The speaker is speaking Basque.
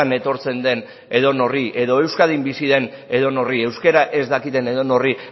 etortzen den edonorri edo euskadin bizi den edonorri euskara ez dakien edonorri